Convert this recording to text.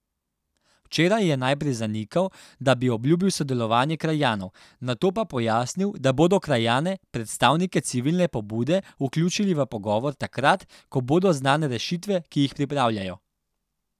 Včeraj je najprej zanikal, da bi obljubil sodelovanje krajanov, nato pa pojasnil, da bodo krajane, predstavnike civilne pobude, vključili v pogovor takrat, ko bodo znane rešitve, ki jih pripravljajo.